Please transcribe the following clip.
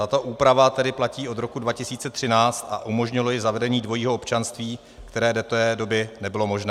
Tato úprava tedy platí od roku 2013 a umožnilo ji zavedení dvojího občanství, které do té doby nebylo možné.